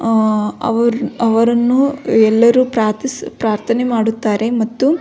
ಆ ಅವರನ್ನು ಎಲ್ಲರು ಪ್ರಾರ್ಥಿಸು ಪ್ರಾರ್ಥನೆ ಮಾಡುತ್ತಾರೆ ಮತ್ತು --